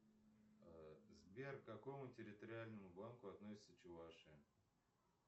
сбер к какому территориальному банку относится чувашия